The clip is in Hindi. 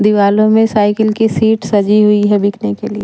दिवालों में साइकिल की सीट सजी हुई है बिकने के लिए--